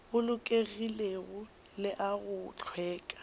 bolokegilego le a go hlweka